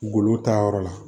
Golo ta yɔrɔ la